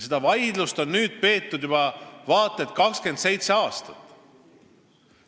Seda vaidlust on peetud juba vaat et 27 aastat.